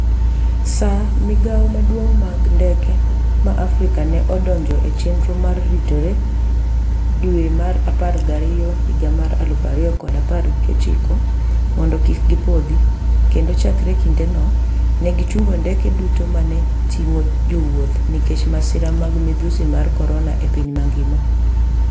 SAA, migao maduong' mag ndeke ma Africa ne odonjo e chenro mar ritore dwe mar apar gariyo higa mar aluf ariyo kod apar gi ochiko mondo kik gi pothi, kendo chakre kindeno, ne gi chungo ndege duto ma ne ting’o jowuoth nikech masira mag midhusi mar korona e piny mangima.